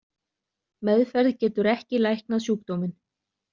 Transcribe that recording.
Meðferð getur ekki læknað sjúkdóminn.